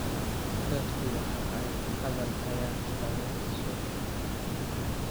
Dadku waxa ay hadal hayaan xoolaha suuqa ku jira.